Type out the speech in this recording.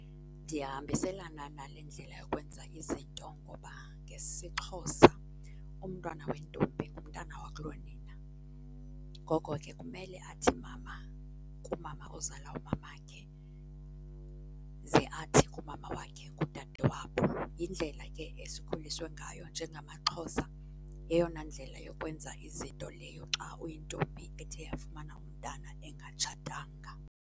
Ndiyahambiselana nale ndlela yokwenza izinto ngoba ngesiXhosa umntwana wentombi ngumntana wakulonina, ngoko ke kumele athi mama kumama ozala umamakhe ze athi kumama wakhe ngudadewabo. Yindlela ke esikhuliswe ngayo njengamaXhosa. Yeyona ndlela yokwenza izinto leyo xa uyintombi ethe yafumana umntana ingatshatanga.